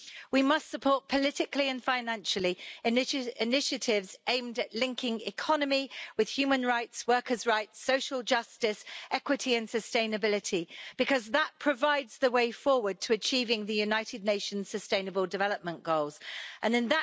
We must support, politically and financially, initiatives aimed at linking economy with human rights, workers' rights, social justice, equity and sustainability, because that provides the way forward to achieving the United Nations Sustainable Development Goals In